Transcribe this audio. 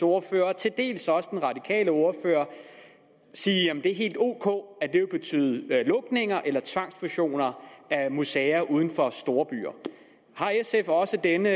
ordfører og til dels også den radikale ordfører sige at det er helt ok at det vil betyde lukninger eller tvangsfusioner af museer uden for storbyer har sf også denne